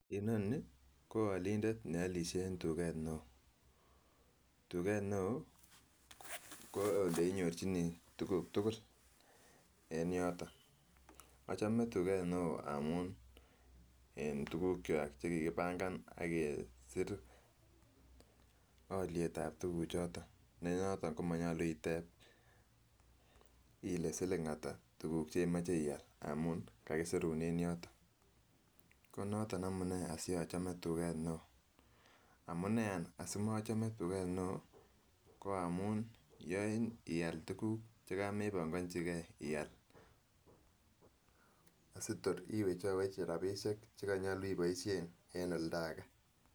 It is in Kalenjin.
Inoni ko olindet ne olishe en tuget neo, tuget neo ko ole inyorjinigee tuguk tugul en yoton ochome tuget neo amun en tugukwak kokakibangan ak kesir olietab tuguchoton neyoton komonyolu itep ile siling ata tuguk chemoche ial amun kakisirun en yoton konoton, amune asiochome tuget neo amuneany asimochome tuget neo ko amun yoin ial tuguk chekamebongojigee ial, sitor iwechowech rabisiek che konyolu iboishen en oldagee.